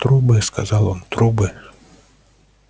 трубы сказал он трубы